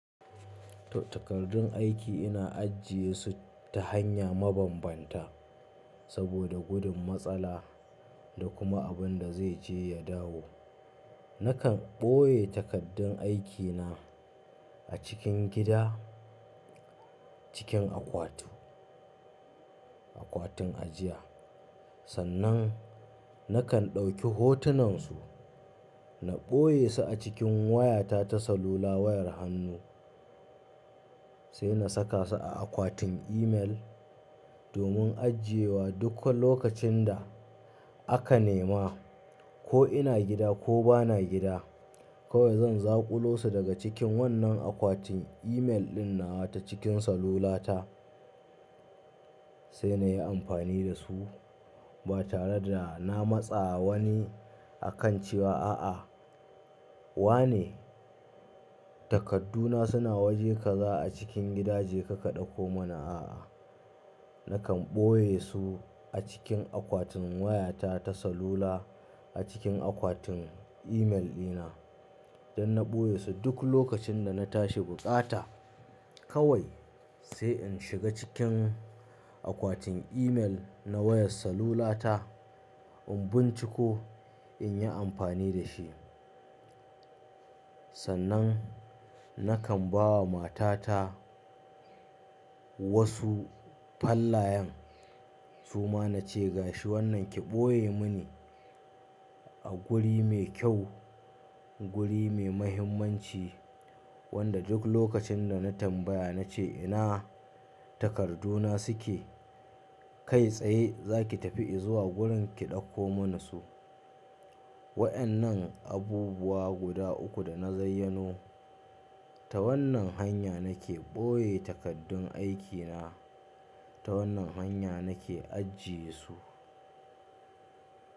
Takardun aiki ina ajiye su ta hanya mabambanta saboda gudun matsala da kuma abin da zai je ya dawo. Nakan ɓoye takaddun aikina a cikin gida, cikin akwati, akwatin ajiya. Sannan nakan ɗauki hotunan su, na ɓoye su a cikin wayata ta salula wayar hannu, sai na saka su a akwatin email domin ajiyewa duk lokacin da aka nema ko ina gida ko bana gida. Kawai zan zaƙulo su daga cikin wannan akwatin email ɗin nawa ta cikin salula ta sai na yi amfani da su ba tare da na matsa wani a kan cewa a'a. Wane? Takadduna suna waje kaza a cikin gida je ka ka ɗauko mana a'a. Nakan ɓoye su a cikin akwatin wayata ta salula, a cikin akwatin email dina don na ɓoye su duk lokacin da na tashi buƙata kawai sai in shiga cikin akwatin email na wayar salulata in binciko in yi amfani da shi. Sannan nakan ba wa matata wasu fallayan, suma na ce gashi wannan ki ɓoye mini a guri mai kyau, guri mai muhimmanci wanda duk lokacin da na tambaya na ce ina takadduna suke? Kai tsaye za ki tafi izuwa gurin ki ɗauko mana su. Wayannan abubuwa guda uku da na zayyano ta wannan hanya nake ɓoye takaddun aikina. Ta wannan hanya nake ajiye su.